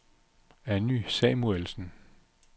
Anny Samuelsen